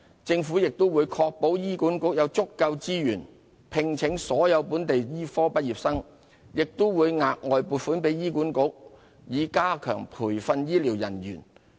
政府亦會確保醫管局有足夠資源聘請所有本地醫科畢業生，並會額外撥款給醫管局以加強培訓醫療人員。